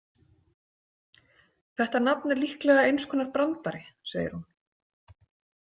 Þetta nafn er líklega eins konar brandari, segir hún.